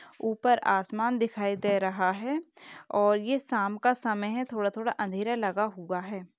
ऊपर आसमान दिखाई दे रहा है और ये शाम का समय है । थोड़ा-थोड़ा अंधेरा लगा हुआ है।